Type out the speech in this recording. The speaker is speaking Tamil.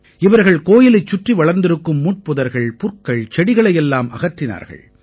இவர்கள் கோயிலைச் சுற்றி வளர்ந்திருக்கும் முட்புதர்கள் புற்கள் செடிகளை எல்லாம் அகற்றினார்கள்